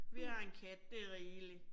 Vi har en kat, det rigeligt